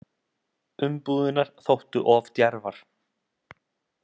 Umbúðirnar þóttu of djarfar